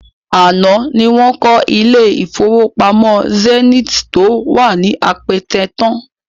Àná ni wọ́n kọ́ ilé-ìfowópamọ́ Zenith tó wà ní Apẹtẹ tán